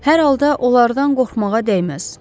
Hər halda onlardan qorxmağa dəyməz.